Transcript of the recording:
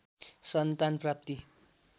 सन्तान प्राप्ति